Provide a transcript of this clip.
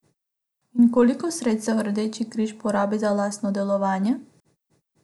In koliko sredstev Rdeči križ porabi za lastno delovanje?